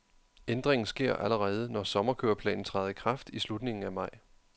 Ændringen sker allerede, når sommerkøreplanen træder i kraft i slutningen af maj.